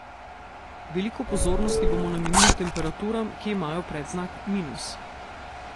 Veliko pozornosti bomo namenili temperaturam, ki imajo predznak minus.